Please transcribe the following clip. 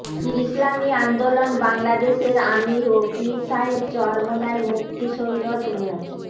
ইসলামী আন্দোলন বাংলাদেশের আমীর ও পীর সাহেব চরমোনাই মুফতি সৈয়দ মো